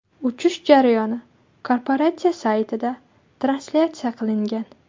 Uchish jarayoni korporatsiya saytida translyatsiya qilingan.